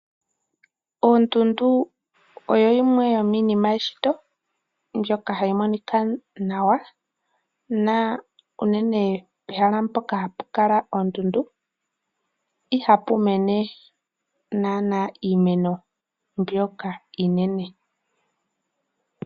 Ondundu oyo yimwe yomiinima yeshito, mbyoka ha yi monika nawa, na unenee pehala mpoka hapu kala ondundu ihapu mene nanaa iimeno mbyoka iinene.